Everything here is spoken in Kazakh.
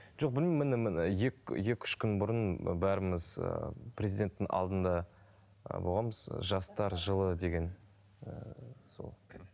жоқ білмеймін міне міне екі үш күн бұрын бәріміз ыыы президенттің алдында ы болғанбыз жастар жылы деген ыыы сол